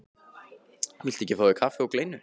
Viltu ekki fá þér kaffi og kleinu?